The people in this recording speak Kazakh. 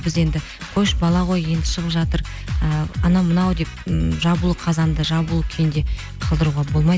біз енді қойшы бала ғой енді шығып жатыр ііі анау мынау деп м жабулы қазанды жабулы күйінде қалдыруға болмайды